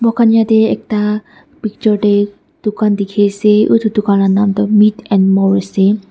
Moikhan yateh ekta picture dae dukhan dekhi ase utu dukhan la naam toh Meat and More ase.